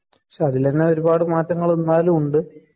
പക്ഷേ അതില് തന്നെ ഒരുപാട് മാറ്റങ്ങള് എന്നാലുമുണ്ട്.